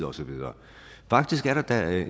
og så videre faktisk er der da